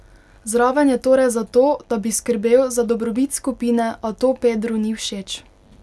Zraven je torej zato, da bi skrbel za dobrobit skupine, a to Pedru ni všeč.